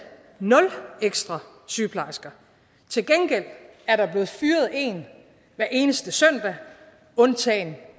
nul ekstra sygeplejersker til gengæld er der blevet fyret en hver eneste søndag undtagen